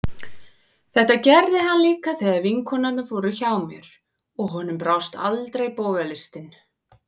Þetta gerði hann líka þegar vinkonurnar voru hjá mér, og honum brást aldrei bogalistin.